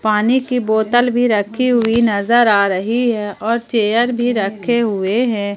पानी की बोतल भी रखी हुई नजर आ रही है और चेयर भी रखे हुए हैं।